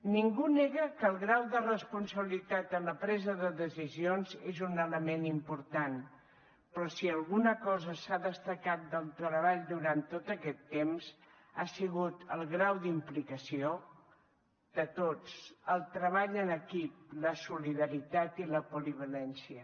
ningú nega que el grau de responsabilitat en la presa de decisions és un element important però si alguna cosa s’ha destacat del treball durant tot aquest temps ha sigut el grau d’implicació de tots el treball en equip la solidaritat i la polivalència